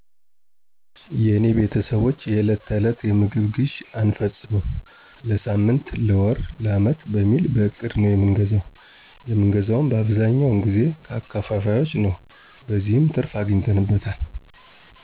የኔቤተሰቦች የዕለት ተዕለት የምግብ ግዥ አንፈጽምም ለሳምን ለወር ለዓመት በሚል በእቅድ ነዉ የምንገዛ የምን ገዛዉም አብዛኛወነ ጊዜ ከአከፋፋዮችነዉ በዚህም ትርፍ አግኝተነበታል።